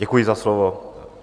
Děkuji za slovo.